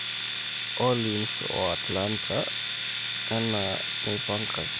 Orleans o Atlanta ana enaipangaki.